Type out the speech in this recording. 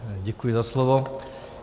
Děkuji za slovo.